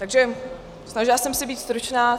Takže snažila jsem se být stručná.